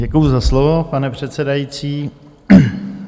Děkuji za slovo, pane předsedající.